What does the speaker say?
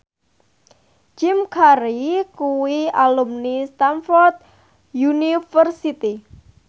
Jim Carey kuwi alumni Stamford University